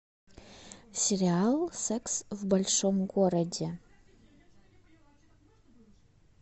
сериал секс в большом городе